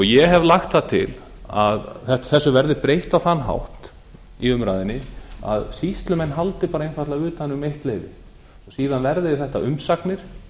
ég hef lagt það til að þessu verði breytt á þann hátt í umræðunni að sýslumenn haldi bara utan um eitt leyfið síðan verði þetta umsagnir